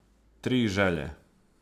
Tri želje.